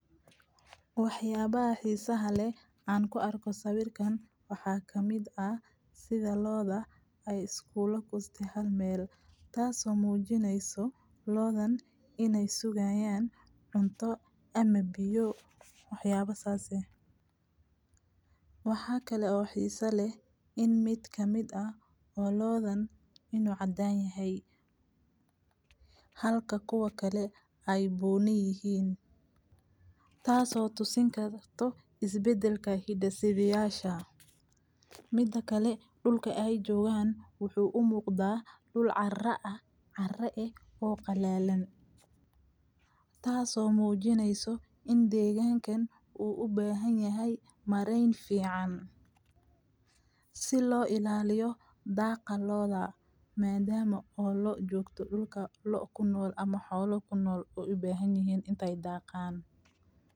Waxyaba a hiisa hale aan ku arko sawirkan waxaa ka mid ah sida looda ay iskuulo ku isti hal meel. Taasoo muujinayso loodhan inay sugayaan cunto ame biyo waxyaba saase. Waxaa kale oo xiiso leh in mid ka mid ah oo loodhan inuu caddayn yahay halka kuwa kale ay buu ni yihiin. Taaso tusin ka to isbeddelka hiddesidayaasha. Mida kale dhulke ay joogaan wuxuu u muuqdaa dhul carra ah carre ah oo qalaalan. Taasoo muujinayso in deegaankan uu u beehaniyahay marayn fiican. Si loo ilaaliyo daaqa loodha, meedama oo loo joogto dhulka loo kunool ama xoolo kunool u ubeehan yihiin intay daaqan.